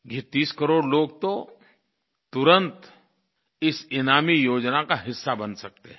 ये 30 करोड़ लोग तो तुरंत इस ईनामी योजना का हिस्सा बन सकते हैं